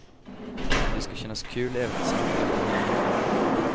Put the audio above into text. Det ska kännas kul även att snacka.